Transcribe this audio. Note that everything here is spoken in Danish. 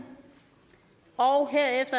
og